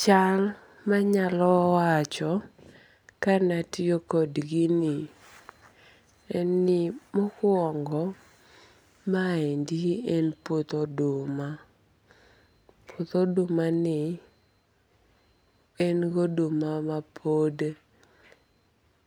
Chal manyalo wancho kanatiyo kod gini en ni mokuongo maendi en puoth oduma. Puoth oduma ni en goduma ma